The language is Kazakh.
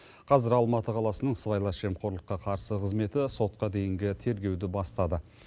қазір алматы қаласының сыбайлас жемқорлыққа қарсы қызметі сотқа дейінгі тергеуді бастады